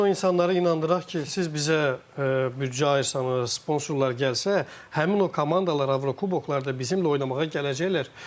Bəlkə eləmi insanları inandıraq ki, siz bizə büdcə ayırsanız, sponsorlar gəlsə, həmin o komandalar Avrokuboklarda bizim oynamağa gələcəklər.